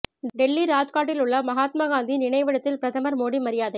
டெல்லி ராஜ்காட்டில் உள்ள மகாத்மா காந்தியின் நினைவிடத்தில் பிரதமர் மோடி மரியாதை